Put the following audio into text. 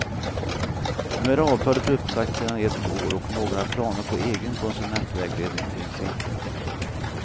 Nu är avtalet uppsagt sedan ett år och några planer på egen konsumentvägledning finns inte.